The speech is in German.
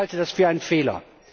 Ich halte das für einen Fehler.